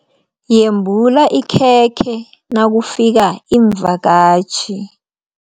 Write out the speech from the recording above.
Yembula ikhekhe nakufika iimvakatjhi.